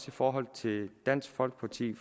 i forhold til dansk folkeparti